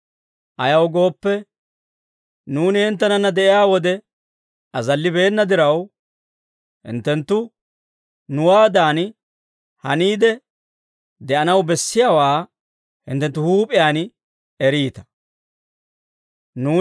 Ayaw gooppe, nuuni hinttenanna de'iyaa wode azallibeena diraw, hinttenttu nuwaadan haniide de'anaw bessiyaawaa hinttenttu hinttenttu huup'iyaan eriita.